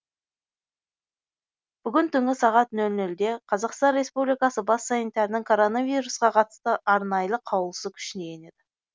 бүгін түнгі сағат нөл нөлде қазақстан республикасы бас санитарының коронавирусқа қатысты арнайы қаулысы күшіне енеді